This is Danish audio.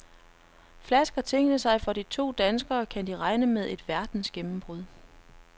Flasker tingene sig for de to danskere, kan de regne med et verdensgennembrud.